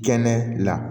Kɛnɛ la